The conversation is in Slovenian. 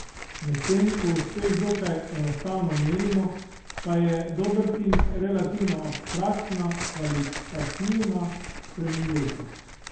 Medtem ko uspeh dokaj enostavno merimo, pa je dober tim relativno abstraktna, kvalitativna spremenljivka.